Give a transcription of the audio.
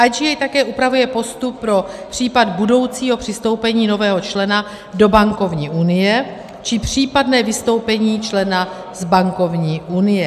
IGA také upravuje postup pro případ budoucího přistoupení nového člena do bankovní unie či případné vystoupení člena z bankovní unie.